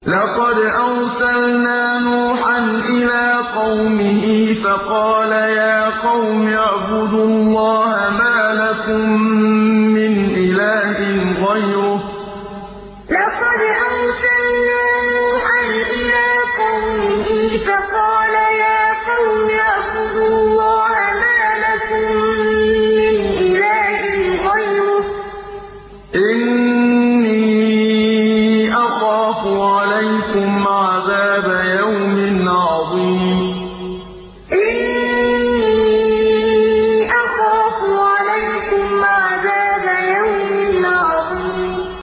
لَقَدْ أَرْسَلْنَا نُوحًا إِلَىٰ قَوْمِهِ فَقَالَ يَا قَوْمِ اعْبُدُوا اللَّهَ مَا لَكُم مِّنْ إِلَٰهٍ غَيْرُهُ إِنِّي أَخَافُ عَلَيْكُمْ عَذَابَ يَوْمٍ عَظِيمٍ لَقَدْ أَرْسَلْنَا نُوحًا إِلَىٰ قَوْمِهِ فَقَالَ يَا قَوْمِ اعْبُدُوا اللَّهَ مَا لَكُم مِّنْ إِلَٰهٍ غَيْرُهُ إِنِّي أَخَافُ عَلَيْكُمْ عَذَابَ يَوْمٍ عَظِيمٍ